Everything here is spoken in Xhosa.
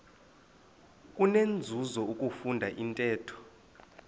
kunenzuzo ukufunda intetho